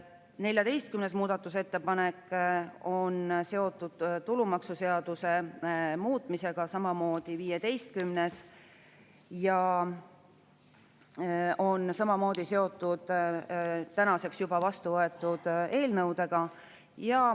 14. muudatusettepanek on seotud tulumaksuseaduse muutmisega, samamoodi on 15. muudatusettepanek seotud tänaseks juba vastuvõetud eelnõudega.